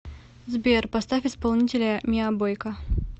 сбер поставь исполнителя миа бойка